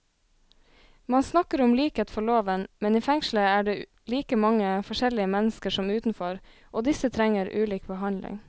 Man snakker om likhet for loven, men i fengselet er det like mange forskjellige mennesker som utenfor, og disse trenger ulik behandling.